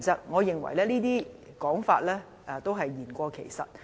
我認為這些說法是言過其實。